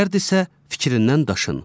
Şərdirsə, fikrindən daşın.